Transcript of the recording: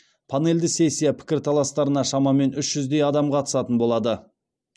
панельді сессия пікірталастарына шамамен үш жүздей адам қатысатын болады